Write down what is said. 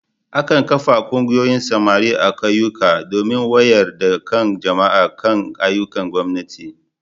Akan kafa Ƙungiyoyin samari a Ƙauyuka domin wayar da kan jama'a kan ayyukan gwamnati.